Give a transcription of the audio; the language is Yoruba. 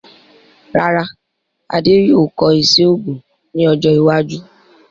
Rárá, Adé yóò kọ́ iṣẹ́ òògùn ní ọjọ́ iwájú